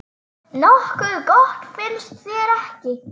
Nokkuð gott, finnst þér ekki?